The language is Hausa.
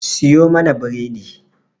Siyo mana bredi.